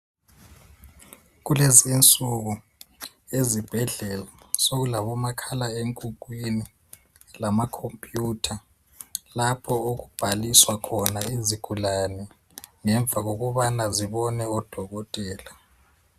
Kulezinsuku ezibhedlela sokulabomakhala enkukhwini lamakhompuyutha lapho okubhaliswa khona izigulane ngemva kokubana zibone odokotela.